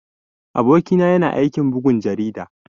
Aboki na yana aikin bugun jarida.